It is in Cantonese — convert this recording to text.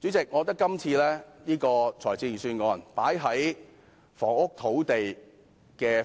主席，我覺得今次預算案在房屋和土地